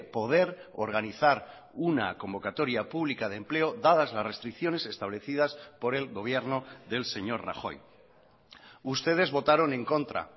poder organizar una convocatoria pública de empleo dadas las restricciones establecidas por el gobierno del señor rajoy ustedes votaron en contra